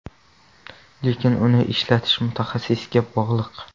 Lekin uni ishlatish mutaxassisga bog‘liq.